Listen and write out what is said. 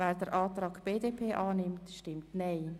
Wer den Antrag BDP annimmt, stimmt Nein.